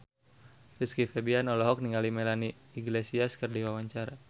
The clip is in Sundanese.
Rizky Febian olohok ningali Melanie Iglesias keur diwawancara